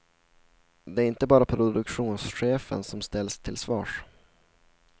Det är inte bara produktionschefen som ställs till svars.